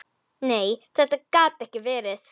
Nei, þetta gat ekki verið.